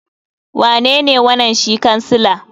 Wanene wanan shi kansila?